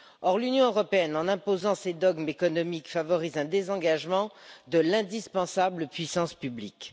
Or l'Union européenne, en imposant ses dogmes économiques, favorise un désengagement de l'indispensable puissance publique.